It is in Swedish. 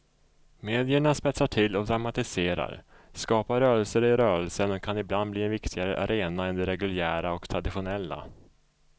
Medierna spetsar till och dramatiserar, skapar rörelser i rörelsen och kan ibland bli en viktigare arena än de reguljära och traditionella.